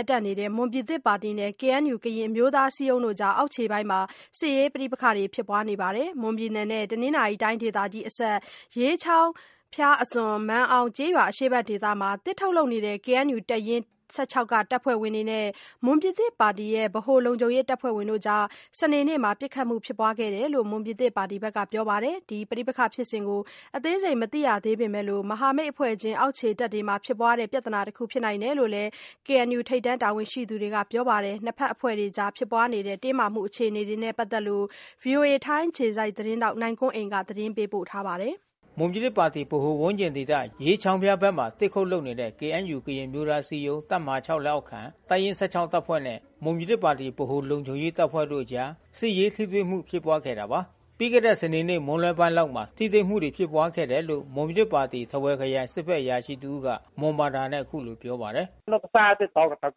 ပ်တန့်နေတဲ့ မွန်ပြည်သစ်ပါတီနဲ့ KNUကရင်အမျိုးသားအစည်းအရုံးတို့အကြား အောက်ခြေ ပိုင်းမှာ စစ်ရေးပဋိပက္ခတွေဖြစ်ပွါးလာနေတာပါ။ မွန်ပြည်နယ်နဲ့ တနင်္သာရီတိုင်းဒေသကြီးအစပ် ရေးချောင်းဖျားအစွန် မာန်အောင်ကျေးရွာအရှေ့ဘက်ဒေသမှာ သစ်ထုတ်လုပ်နေတဲ့ KNU တပ်ရင်း(၁၆)တပ်ဖွဲ့ဝင်တွေနဲ့ မွန်ပြည်သစ် ပါတီ ဗဟိုလုံခြုံရေးတပ်ဖွဲ့တို့အကြား စနေနေ့မှာ ပစ်ခတ်မှုအနဲငယ်ဖြစ်ပွါးခဲ့တယ်လို့ မွန်ပြည်သစ်ပါတီဘက်က ပြောပါတယ်။ ဒီပဋိပက္ခဖြစ်စဉ်ကိုအသေးစိပ်မသိရသေးပေမဲ့ မဟာမိတ်အဖွဲ့ချင်း အောက်ခြေတပ်တွေဖြစ်ပွါးတဲ့ ပြဿနာတခုဖြစ်နိုင်တယ်လို့လဲ KNUထိပ်တန်းတာဝန်ရှိသူတွေကဆိုပါတယ်။ နှစ်ဖက်အဖွဲ့တွေအကြားဖြစ်ပွါးခဲ့တဲ့ တင်းမာမှုအခြေအနေနဲ့ပက်သက်လို့ VOAထိုင်းအခြေစိုက်သတင်းထောက်နိုင်ကွန်းအိန်ကနေ သတင်းပေးပို့ထား ပါတယ်။ မွန်ပြည်သစ်ပါတီ ဗဟိုဝန်းကျင်ဒေသရေးချောင်းဖျားဘက်မှာ သစ်ခုတ်လုပ်နေတဲ့KNUကရင်အမျိုးသားအစည်း အရုံး တပ်မဟာ(၆)လက်အောက်ခံတပ်ရင်း(၁၆)တပ်ဖွဲ့နဲ့ မွန်ပြည်သစ်ပါတီ ဗဟိုလုံခြုံရေးတပ်ဖွဲ့တို့အကြား စစ်ရေးထိတွေ့မှုဖြစ်ပွါးခဲ့တာပါ။ ပြီးခဲ့တဲ့စနေနေ့မွန်းလွှဲပိုင်းလောက်မှာ ထိတွေ့မှုဖြစ်ပွါးခဲ့တယ်လို့ မွန်ပြည်သစ်ပါတီ ထားဝယ်ခရိုင်စစ်ဖက် အရာရှိ တဦးကမွန်ဘာသာနဲ့အခုလိုပြောပါတယ်။ "ပသာချောင်းဖျာ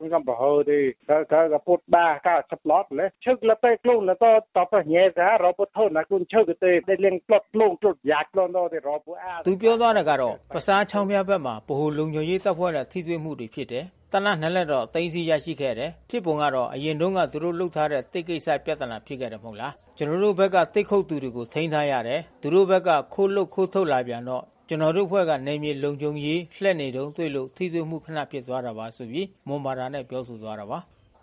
းဘက်မှာ ဗဟိုလုံခြုံရေးတပ်ဖွဲ့တွေနဲ့ထိတွေ့မှုဖြစ်တယ်။ သေနတ်(၂)လက်တော့သိမ်းဆီးရခဲ့တယ်။ ဖြစ်ပုံက အရင်တုန်းကသူတို့လုပ်ထားတဲ့သစ်ကိစ္စ ပြဿနာဖြစ်ခဲ့တယ်မဟုတ်လား။ ကျွန်တော်တို့ဘက်က သစ်ခုတ် သူတွေကိုထိမ်းထားရတယ်။ နောက်သူတို့ဘက်က ခိုးလုပ်ခိုးထုတ်လာပြန်တော့ ကျွန်တောို့အဖွဲ့က နယ်မြေလုံခြုံ ရေး လှည့်နေတုန်းတွေ့လို့ ထိတွေ့မှုခနဖြစ်သွားတာပါ။"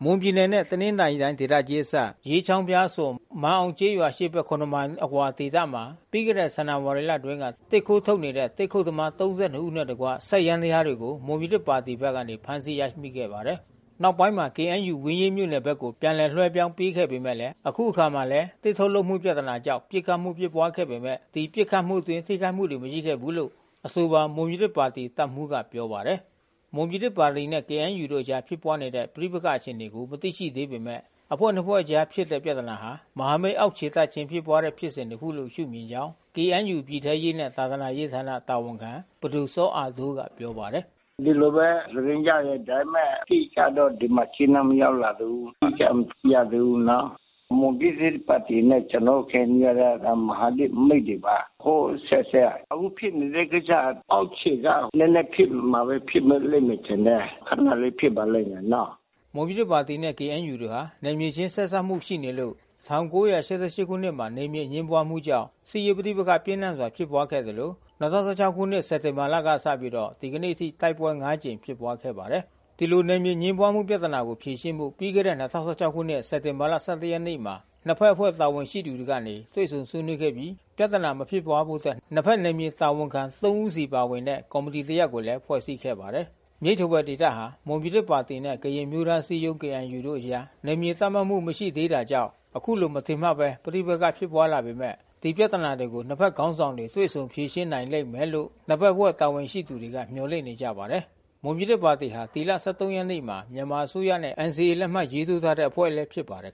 မွန်ပြည်နယ်နဲ့ တနင်္သာရီတိုင်းဒေသကြီးအစပ် ရေးချောင်းဖျားအစွန် မာန်အောင်ကျေးရွာ အရှေ့ဘက်(၇)မိုင် အကွာဒေသမှာပြီးခဲ့တဲ့ ဇန်နဝါရီလအတွင်းက သစ်ခိုးထုတ်နေတဲ့ သစ်ခုတ်သမား ၃၂ ဦးနဲ့တကွ စက်ယန္တယား တွေကို မွန်ပြည်သစ်ပါတီက ဖမ်းဆီးမိခဲ့ပါတယ်။ နောက်ပိုင်းမှာကေအင်န်ယူ ဝင်းရေးမြို့နယ်ဘက်ကို ပြန်လည်လွှဲ ပြောင်းပေးခဲ့ပေမဲ့ အခုအခါမှာလည်း သစ်ထုတ် လုပ်မှုပြသနာကြောင့်ပစ်ခတ်မှုဖြစ်ပွားခဲ့ပေမဲ့ ဒီပစ်ခတ်မှုအတွင်း ထိခိုက်မှုတွေမရှိခဲ့ဘူးလို့ အဆိုပါမွန်ပြည်သစ် ပါတီတပ်မှူးကပြောပါတယ်။ မွန်ပြည်သစ်ပါတီနဲ့ KNUတို့အကြားဖြစ်ပွါးတဲ့ပဋိပက္ခအခြေအနေကို မသိရှိသေးပေမဲ့ နှစ်ဖွဲ့အဖွဲ့အကြားဖြစ်တဲ့ ပြဿနာဟာ မဟာမိတ်အောက်ခြေတပ်ခြင်းဖြစ်ပွါးတဲ့ဖြစ်စဉ်တခုလို့ရှု့မြင်ကြောင်းKNU ပြည်ထဲရေးနှင့်သာသနာ ရေးဌာနတာဝန်ခံ ပဒိုစောအာတိုးကပြောပါတယ်။ "ဒီလိုဘဲသတင်းကြားတယ်။ အတိအကျတော့ဒီမှာကြေးနန်းမရောက်လာသေးဘူး။ အတိအကျမသိရသေးဘူးနော်။ မွန်ပြည်သစ်ပါတီနဲ့ကျွန်တော်တို့KNUကမဟာမိတ်တွေပါ။ ဟိုးအဆက်ဆက်က။ အခုဖြစ်နေတဲ့ကိစ္စက အောက်ခြေ မှာ နဲနဲထစ်နေလို့ဖြစ်နေလိမ့်မယ်ထင်တယ်။ ခနလေးဖြစ်ပါလိမ့်မယ်နော်။" မွန်ပြည်သစ်ပါတီနဲ့ KNUတို့ဟာ နယ်မြေခြင်းဆက်စပ်မှုရှိနေလို့ ၁၉၈၈ခုနှစ်မှာ နယ်မြေအငြင်းပွါးမှုကြောင့် စစ်ရေးပဋိပက္ခပြင်းထန်စွာဖြစ်ပွါးခဲ့သလို ၂၀၁၆ ခုနှစ်စက်တင်ဘာလကစပြီး ဒီကနေ့အထိ တိုက်ပွဲ (၅)ကြိမ် ဖြစ်ပွါးခဲ့ပါတယ်။ ဒီလိုနယ်မြေအငြင်းပွါးမှုပြဿနာကိုဖြေရှင်းဖို့ပြီးခဲ့တဲ့၂၀၁၆ခုနှစ်စက်တင်ဘာ(၁၁)ရက်နေ့မှာ နှစ်ဖက်အဖွဲ့တာဝန် ရှိသူတွေကနေ တွေ့ဆုံဆွေးနွေးခဲ့ပြီး ပြဿနာမဖြစ်ပွါးဖို့အတွက် နှစ်ဖက်နယ်မြေတာဝန်ခံ(၃)ဦးစီပါဝင်တဲ့ ကော်မီ တီ တရပ်ကိုဖွဲ့စည်းခဲ့ပါတယ်။ မြိတ်-ထားဝယ်ဒေသဟာ မွန်ပြည်သစ်ပါတီနဲ့ ကရင်အမျိုးသားအစည်းအရုံးတို့အကြား နယ်မြေသတ်မှတ်မှု မရှိ သေးတာကြောင့် ယခုလိုမထင်မှတ်ဘဲပဋိပက္ခဖြစ်ပွါးလာပေမဲ့ ဒီပြဿနာကိုနှစ်ဖက်ခေါင်းဆောင်တွေ တွေ့ဆုံ ဖြေရှင်း နိုင်လိမ့်မယ်လို့ နှစ်ဖက်အဖွဲ့တာဝန်ရှိသူတွေကမျှော်လင့်နေကြပါတယ်။ မွန်ပြည်သစ်ပါတီဟာ ဒီလ(၁၃)ရက်နေ့မှာ မြန်မာအစိုးရနဲ့ NCA လက်မှတ်ထိုးခဲ့တဲ့ အဖွဲ့ဖြစ်ပါတယ်